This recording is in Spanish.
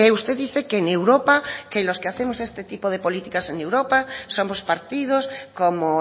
usted dice que en europa que los que hacemos este tipo de políticas en europa somos partidos como